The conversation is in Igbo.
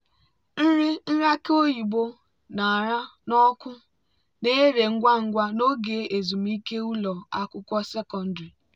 nri nri aki oyibo oyibo ṅara n'ọkụ na-ere ngwa ngwa n'oge ezumike ụlọ akwụkwọ sekọndrị.